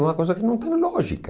É uma coisa que não tem lógica.